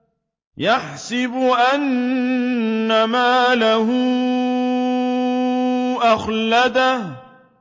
يَحْسَبُ أَنَّ مَالَهُ أَخْلَدَهُ